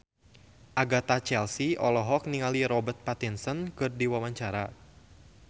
Agatha Chelsea olohok ningali Robert Pattinson keur diwawancara